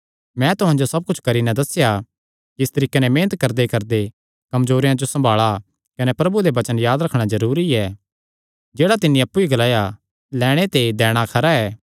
मैं तुहां जो सब कुच्छ करी नैं दस्सेया कि इस तरीके नैं मेहनत करदेकरदे कमजोरेयां जो सम्भाल़णा कने प्रभु यीशुये दे वचन याद रखणा जरूरी ऐ जेह्ड़ा तिन्नी अप्पु ई ग्लाया ऐ लैणे ते दैणा खरा ऐ